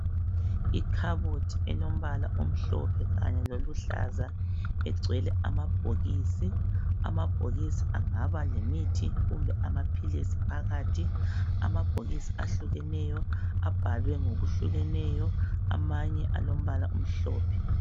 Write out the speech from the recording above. Ikhabothi elombala omhlophe kanye loluhlaza egcwele amabhokisi. Amabhokisi angaba lemithi kumbe amaphilisi phakathi, amabhokisi ahlukeneyo, abhalwe ngokuhlukeneyo amanye alombala omhlophe.